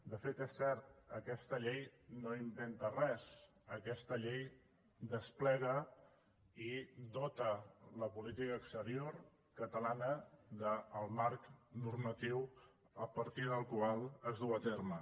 de fet és cert aquesta llei no inventa res aquesta llei desplega i dota la política exterior catalana del marc normatiu a partir del qual es duu a terme